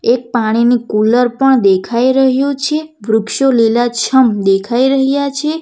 એક પાણીની કુલર પણ દેખાય રહયું છે વૃક્ષો લીલાછમ દેખાય રહયા છે.